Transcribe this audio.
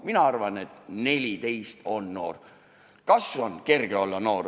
Mina arvan, et 14 täis saanud inimene on noor.